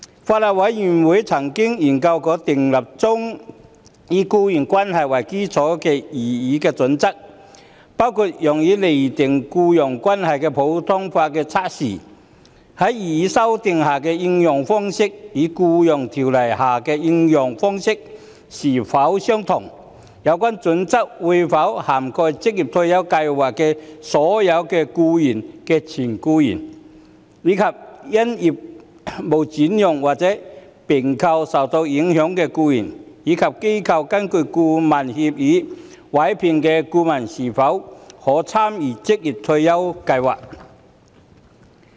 法案委員會曾研究修訂建議中以僱傭關係為基礎的擬議準則，包括用以釐定僱傭關係的普通法測試，在擬議修訂下的應用方式與在《僱傭條例》下的應用方式是否相同；有關準則會否涵蓋職業退休計劃的有關僱主的前僱員，以及因業務轉讓或併購而受影響的僱員；以及機構根據顧問協議委聘的顧問可否參與職業退休計劃。